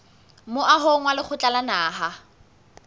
moahong wa lekgotla la naha